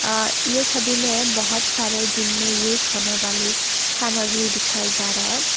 अ ये छवि में बहोत सारे जिम में यूज होने वाली सामग्री दिखाई जा रहा है।